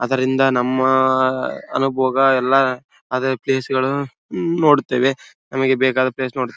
ಅದರಿಂದ ನಮ್ಮ ಅನುಭೋಗ ಎಲ್ಲಾ ಅದೇ ಪ್ಲೇಸಗಳು ನೋಡುತ್ತೇವೆ ನಮಗೆ ಬೇಕಾದ ಪ್ಲೇಸ್ ನೋಡುತ್ತೇ--